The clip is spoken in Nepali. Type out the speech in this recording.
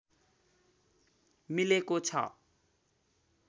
मिलेको छ